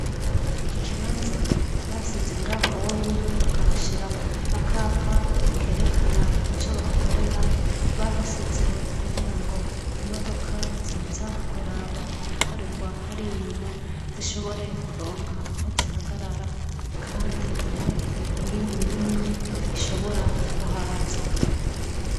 Iki kibanza basize ngaho onye bakahashira akapa kerekana ico bahakorera bahasize kugira ngo imodoka ziza kuraba ibikorerwa hari inyuma zishobore kuronka aho zihagarara, kandi ntihagire iyindi n'imwe ihobea bora kuhaza.